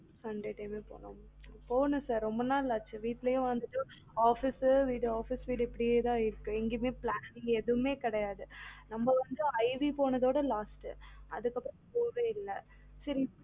sunday time ல போலாம் போனும் sir ரொம்ப நாள் ஆச்சு வீட்டுலயும் வந்துட்டு office வீடு office வீடு இப்டியே தான் இருக்கு எங்கேயுமே planning இங்க எதுமே கேடயது நம்ம வந்து IV போனதோட last அதுக்கு அப்பறம் போகவே இல்ல சரி இப்பயாவது